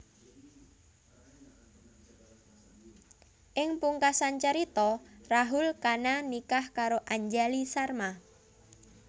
Ing pungkasan carita Rahul Khanna nikah karo Anjali Sharma